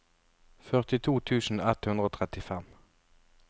førtito tusen ett hundre og trettifem